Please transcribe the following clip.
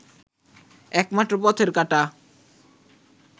একমাত্র পথের কাঁটা